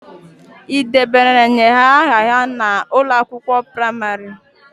Ị debanyere aha ha n'ụlọ akwụkwọ praimarị?